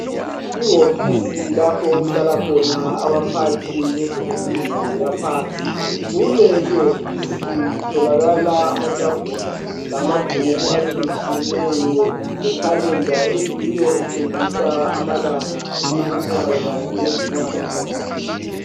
Iwofisi lapho okuhlala khona abaphathi bezemfundo yaphansi. Kule iwofisi kutholakala amatafula lamabhuku atshiyetshiyeneyo lekhalenda eyiyo etshengisa amalanga leminyaka kanye lezinyanga.